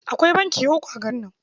Akwai banki uku a garin.